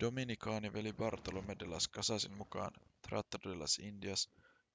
dominikaaniveli bartolomé de las casasin mukaan tratado de las indias